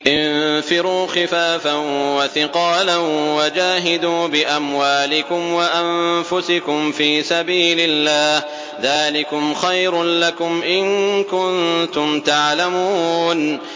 انفِرُوا خِفَافًا وَثِقَالًا وَجَاهِدُوا بِأَمْوَالِكُمْ وَأَنفُسِكُمْ فِي سَبِيلِ اللَّهِ ۚ ذَٰلِكُمْ خَيْرٌ لَّكُمْ إِن كُنتُمْ تَعْلَمُونَ